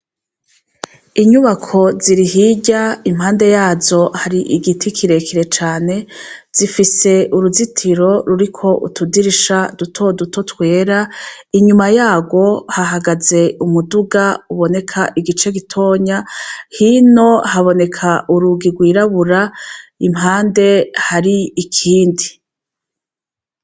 Inyubako ziri Hirya ,impande yazo har igiti kirekire cane , zifise uruzitiro ruriko utudirisha dutoduto twera inyuma yaho hahagaze umuduga uboneka igice gitonya ,hino haboneka urugi rwirabura iruhande ikindi.